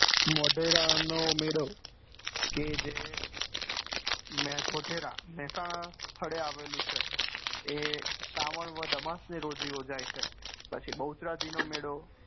મોઢેરા નો મેળો કે જે મહેસાણા ના સ્થળે આવેલું છે તે શ્રવણ વધ ના અમાસ ની રોજ ઉજવાય છે પછી બહુજરાજી નો મેળો